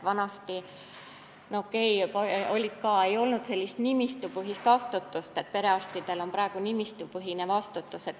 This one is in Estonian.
Vanasti ei olnud küll nimistupõhist vastutust, mis praegu on perearstil.